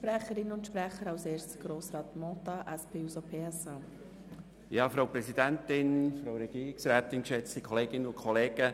Wohl im «Rüebliherbst» oder dann eben am SanktNimmerleins-Tag.